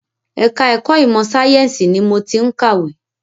Ẹ̀ka ẹ̀kọ́ ìmọ sàyẹ̀nsì ni mo ti ń kàwé.